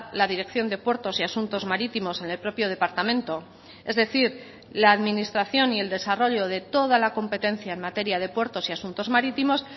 la dirección de puertos y asuntos marítimos en el propio departamento es decir la administración y el desarrollo de toda la competencia en materia de puertos y asuntos marítimos